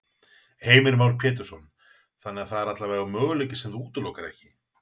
Heimir Már Pétursson: Þannig það er allavega möguleiki sem þú útilokar ekki?